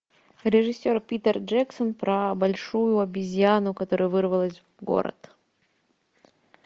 режиссер питер джексон про большую обезьяну которая вырвалась в город